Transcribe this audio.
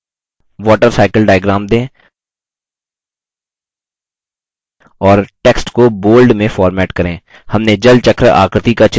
और text को bold में format करें